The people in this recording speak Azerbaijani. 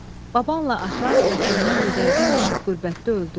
Babanla atan vətəndən didərgin düşüb qürbətdə öldü.